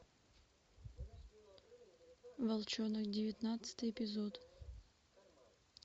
волчонок девятнадцатый эпизод